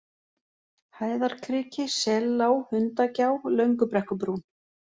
Hæðarkriki, Sellág, Hundagjá, Löngubrekkubrún